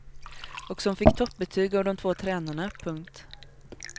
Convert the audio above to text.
Och som fick toppbetyg av de två tränarna. punkt